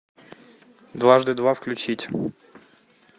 дважды два включить